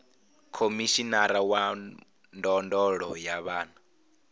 khomishinari wa ndondolo ya vhana